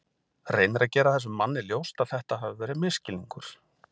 Reynir að gera þessum manni ljóst að þetta hafi verið misskilningur.